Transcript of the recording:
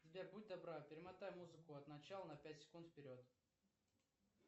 сбер будь добра перемотай музыку от начала на пять секунд вперед